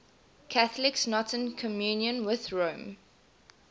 catholics not in communion with rome